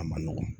A ma nɔgɔ